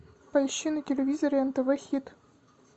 поищи на телевизоре нтв хит